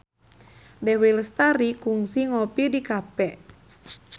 Dewi Lestari kungsi ngopi di cafe